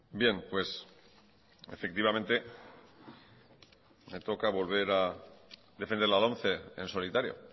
bien efectivamente me toca volver a defender la lomce en solitario